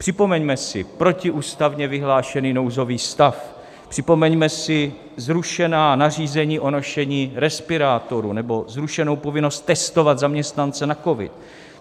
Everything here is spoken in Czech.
Připomeňme si protiústavně vyhlášený nouzový stav, připomeňme si zrušená nařízení o nošení respirátorů nebo zrušenou povinnost testovat zaměstnance na covid.